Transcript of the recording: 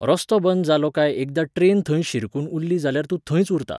रस्तो बंद जालो काय एकदां ट्रेन खंय शिरकून उरली जाल्यार तूं थंयच उरता.